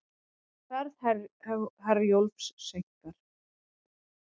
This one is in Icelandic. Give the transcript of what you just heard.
Ferð Herjólfs seinkar